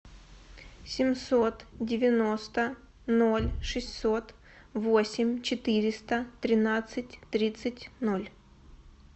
семьсот девяносто ноль шестьсот восемь четыреста тринадцать тридцать ноль